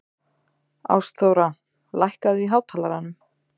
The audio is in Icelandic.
Ástþóra, lækkaðu í hátalaranum.